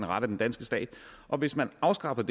ret af den danske stat og hvis man afskaffede